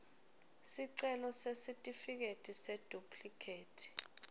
sicelo sesitifiketi seduplikhethi